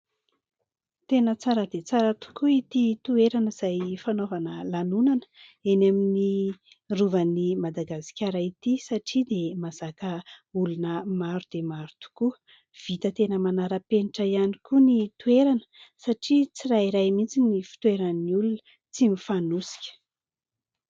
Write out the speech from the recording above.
Tena tsara dia tsara tokoa ity toerana izay fanaovana lanonana eny amin'ny rovan'ny madagasikara ity, satria dia mahazaka olona maro dia maro tokoa. Vita tena manara-penitra ihany koa ny toerana, satria tsirairay mihitsy ny fitoeran'ny olona, tsy mifanosika.